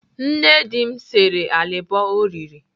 Nne di m sere alịbọ o riri.